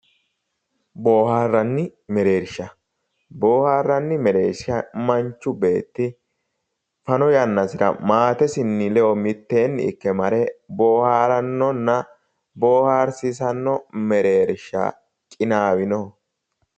Booharanni mereersha, booharanni mereersha manchi beetti fano yannara maatesinni ledo mitteenni ikke mare booharanonna ,booharsiisano mereershati qinawinoho.